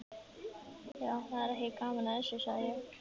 Já, það er ekki gaman að þessu, sagði ég.